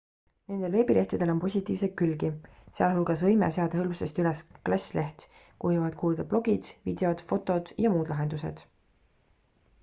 nendel veebilehtedel on positiivseid külgi sealhulgas võime seada hõlpsasti üles klass leht kuhu võivad kuuluda blogid videod fotod ja muud lahendused